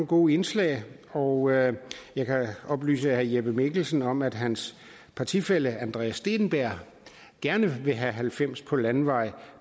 gode indslag og jeg jeg kan da oplyse herre jeppe mikkelsen om at hans partifælle andreas steenberg gerne vil have halvfems på landevej